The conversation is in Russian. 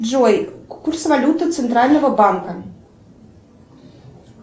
джой курс валюты центрального банка